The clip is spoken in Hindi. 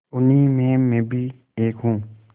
उन्हीं में मैं भी एक हूँ